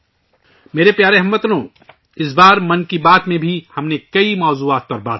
میرے پیارے ہم وطنو، 'من کی بات ' میں ، اس مرتبہ بھی ہم نے کئی موضوعات پر بات کی